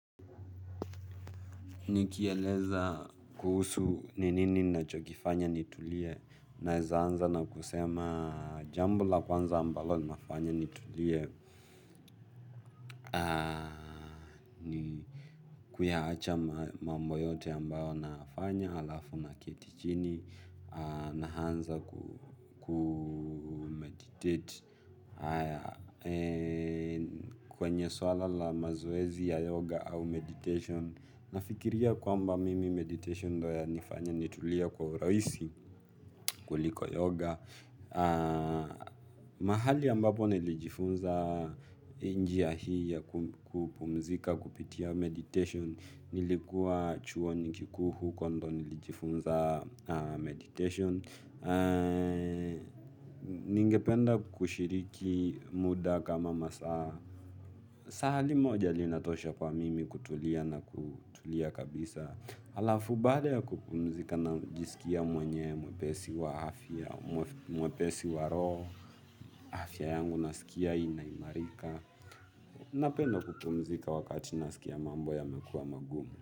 Nikieleza kuhusu ni nini ninachokifanya nitulie naeza anza nakusema jambo la kwanza ambalo linafanya nitulie kuyaacha mambo yote amabayo nafanya alafu naketi chini naanza kumeditate kwenye swala la mazoezi ya yoga au meditation nafikiria kwamba mimi meditation ndo yanifanya nitulie kwa urahisi kuliko yoga mahali ambapo nilijifunza njia hii ya kupumzika kupitia meditation nilikuwa chuoni kikuu huko ndio nilijifunza meditation ningependa kushiriki muda kama masaa saa limoja linatosha kwa mimi kutulia na kutulia kabisa alafu baada ya kupumzika najisikia mwenye, mwepesi wa afya, mwepesi wa roho, afya yangu naskia ina imarika, napenda kupumzika wakati naskia mambo yamekua magumu.